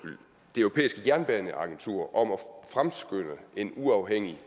det europæiske jernbaneagentur om at fremskynde en uafhængig